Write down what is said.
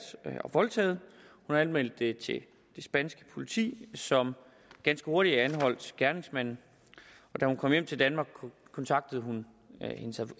og voldtaget hun anmeldte det til det spanske politi som ganske hurtigt anholdt gerningsmanden og da hun kom hjem til danmark kontaktede hun